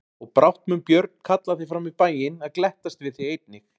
Og brátt mun Björn kalla þig fram í bæinn að glettast við þig einnig.